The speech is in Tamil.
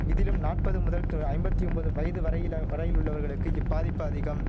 விதிலும் நாற்ப்பது முதல் து ஐம்பத்தி ஒம்பது வயது வரையில வரையில் உள்ளவர்களுக்கு இப்பாதிப்பு அதிகம்